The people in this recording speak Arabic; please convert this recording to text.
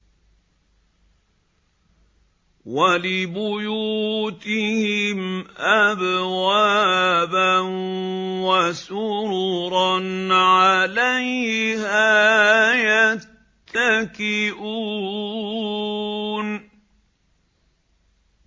وَلِبُيُوتِهِمْ أَبْوَابًا وَسُرُرًا عَلَيْهَا يَتَّكِئُونَ